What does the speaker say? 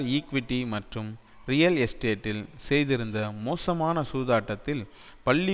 equity மற்றும் real எஸ்டேட்டில் செய்திருந்த மோசமான சூதாட்டத்தில் பள்ளி